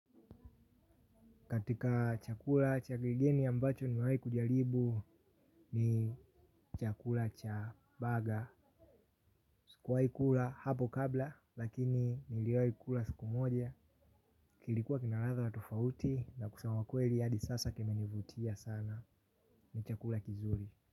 Katika chakula, cha kigeni ambacho nimewahi kujaribu ni chakula cha burger. Sikuwaikula hapo kabla, lakini niliwaikula siku moja. Kilikuwa kina ladha tofauti na kusema kweli hadi sasa kimenivutia sana ni chakula kizuri.